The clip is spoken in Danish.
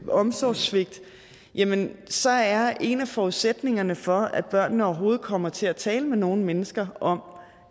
omsorgssvigt jamen så er en af forudsætningerne for at børnene overhovedet kommer til at tale med nogen mennesker om